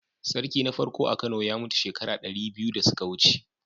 Sarki na farko a Kano ya mutu shekara dari biyu da suka wuce.